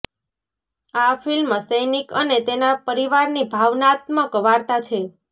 આ ફિલ્મ સૈનિક અને તેના પરિવારની ભાવનાત્મક વાર્તા છે